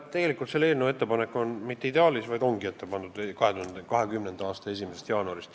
Ei, tegelikult see ettepanek ei ole esitatud mitte ideaalis, vaid ongi ette pandud, et see toimub 2020. aasta 1. jaanuarist.